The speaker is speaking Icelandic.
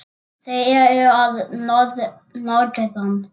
Þeir eru að norðan.